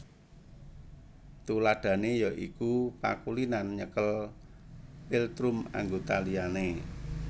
Tuladhané ya iku pakulinan nyekel philtrum anggota liyane